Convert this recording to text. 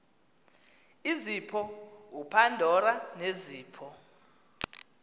izipho upandora nezipho